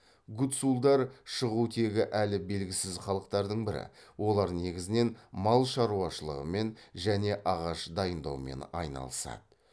гуцулдар шығу тегі әлі белгісіз халықтардын бірі олар негізінен мал шаруашылығымен және ағаш дайындаумен айналысады